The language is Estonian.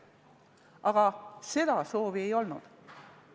Aga seda soovi pole olnud.